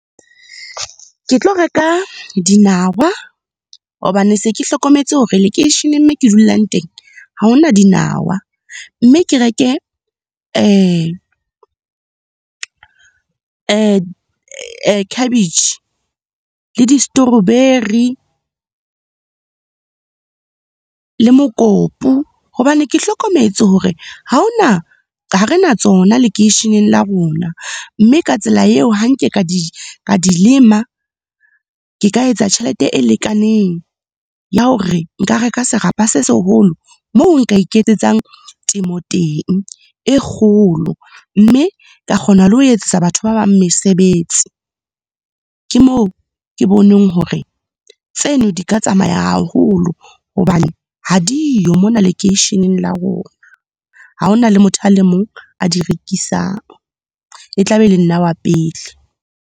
Ke tlo reka dinawa hobane se ke hlokometse hore lekeisheneng moo ke dulang teng ha hona dinawa. Mme ke reke khabetjhe le di-strawberry, le mokopu. Hobane ke hlokometse hore ha hona, ha re na tsona lekeisheneng la rona mme ka tsela eo ha nke ka di lema, ke ka etsa tjhelete e lekaneng, ya hore nka reka serapa se seholo moo nka iketsetsang temo teng, e kgolo. Mme ka kgona le ho etsetsetsa batho ba bang mesebetsi. Ke moo ke boneng hore tseno, di ka tsamaya haholo hobane ha diyo mona lekeisheneng la rona. Ha hona le motho a le mong a di rekisang, e tla be e le nna wa pele.